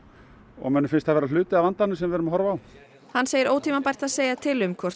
og mönnum finnst það vera hluti af vandanum sem við erum að horfa á hann segir ótímabært að segja til um hvort